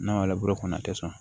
N'a labure kɔnɔ a tɛ sɔn